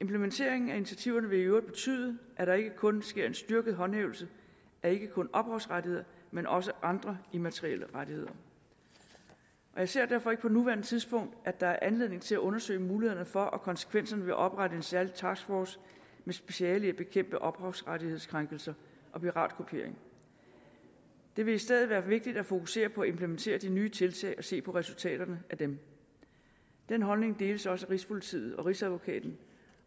implementeringen af initiativerne vil i øvrigt betyde at der ikke kun sker en styrket håndhævelse af ophavsrettighederne men også af andre immaterielle rettigheder jeg ser derfor ikke på nuværende tidspunkt er anledning til at undersøge mulighederne for og konsekvenserne ved at oprette en særlig taskforce med speciale i at bekæmpe ophavsrettighedskrænkelse og piratkopiering det vil i stedet være vigtigt at fokusere på at implementere de nye tiltag og se på resultaterne af dem den holdning deles også af rigspolitiet og rigsadvokaten